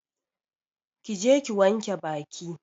Ki je ki wanke Baki!